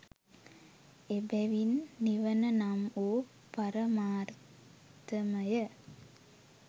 එබැවින් නිවන නම් වූ පරමාර්ථමය